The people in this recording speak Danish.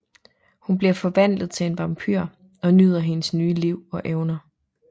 Hun bliver forvandlet til en vampyr og nyder hendes nye liv og evner